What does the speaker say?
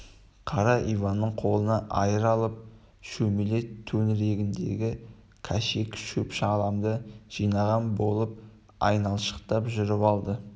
қара иван қолына айыр алып шөмеле төңірегіндегі кәшек шөп-шаламды жинаған болып айналшықтап жүріп алды